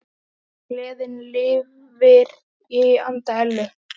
Gleðin lifir í anda Ellu.